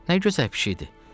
Nə gözəl pişiyidir.